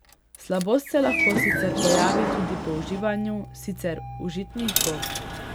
Slabost se lahko sicer pojavi tudi po uživanju sicer užitnih gob.